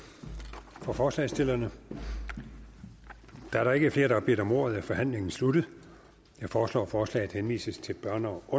for forslagsstillerne da der ikke er flere der har bedt om ordet er forhandlingen sluttet jeg foreslår at forslaget henvises til børne og